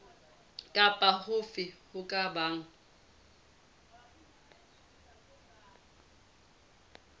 kapa hofe ho ka bang